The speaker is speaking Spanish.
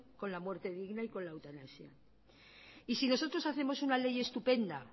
con la muerte digna y con la eutanasia y sí nosotros hacemos una ley estupenda